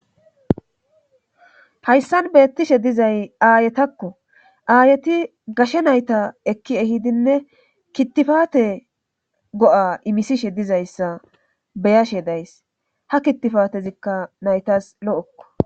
hayssan beettishe dizay aayetakko aayeti gashe nayta ekki ehidinne kittifate go7a imisishe dizayssa beyashe days ha kittifatezikka naytas lo7ekko